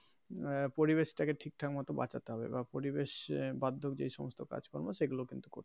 আহ পরিবেশ টাকে ঠিক ঠাক মতো বাঁচাতে হবে বা পরিবেশ যে সমস্ত কাজ কর্ম সেগুলো কিন্তু করতে হবে.